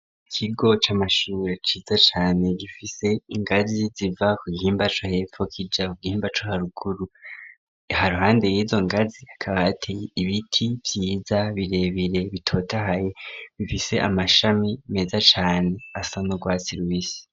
Ikigo c'amashure ciza cane gifise ingazi ziva ku gihimba co hepfo kija ku gihimba co haruguru i ruhande yizo ngazi hakaba hateye ibiti vyiza birebire bitotahaye bifise amashami meza cane asa n'urwatsi rubisi.